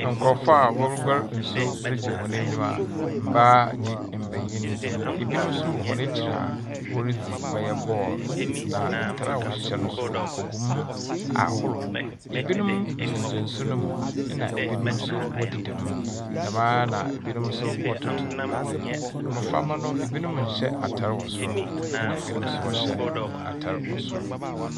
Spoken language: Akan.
Nkurɔfoɔ a wɔreguar nsuo dze regye hɔn enyiwa, mbaa ne mbenyin. Benim nso wɔ hɔn ekyir a woridzi ɔyɛ ball na ntar a wɔhyehyɛ no nso ogum ahorow. Ebinom gyinagyina nsu no mu, ɛnna ebinom nso wɔdedam, dɛm a na ebinom nso wɔretoto adze. Mbɔframba no, ebinom nhyɛ atar wɔ soro, ɛnna ebinom nso wɔhyɛ atar wɔ soro.